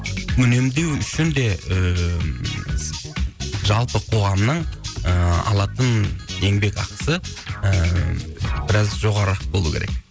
үнемдеу үшін де ыыы жалпы қоғамның ыыы алатын еңбек ақысы ыыы біраз жоғарырақ болу керек